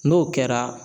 N'o kɛra